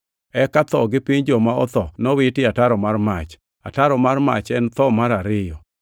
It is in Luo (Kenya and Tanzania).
Eka tho gi Piny Joma otho nowiti e ataro mar mach. Ataro mar mach en e tho mar ariyo.